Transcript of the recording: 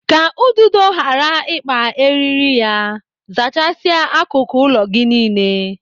Ka ududo ghara ghara ịkpa eriri ya, zachasia akụkụ ụlọ gị niile.